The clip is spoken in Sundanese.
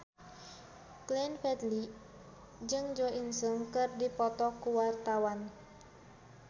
Glenn Fredly jeung Jo In Sung keur dipoto ku wartawan